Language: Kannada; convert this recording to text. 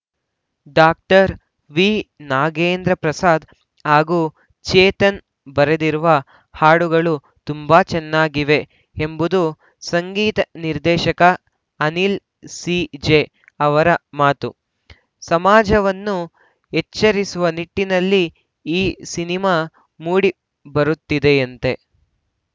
ಡಾಕ್ಟರ್ ವಿ ನಾಗೇಂದ್ರ ಪ್ರಸಾದ್‌ ಹಾಗೂ ಚೇತನ್‌ ಬರೆದಿರುವ ಹಾಡುಗಳು ತುಂಬಾ ಚೆನ್ನಾಗಿವೆ ಎಂಬುದು ಸಂಗೀತ ನಿರ್ದೇಶಕ ಅನಿಲ್‌ ಸಿಜೆ ಅವರ ಮಾತು ಸಮಾಜವನ್ನು ಎಚ್ಚರಿಸುವ ನಿಟ್ಟಿನಲ್ಲಿ ಈ ಸಿನಿಮಾ ಮೂಡಿ ಬರುತ್ತಿದೆಯಂತೆ